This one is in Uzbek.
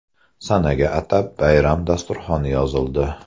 Sanaga atab bayram dasturxoni yozildi.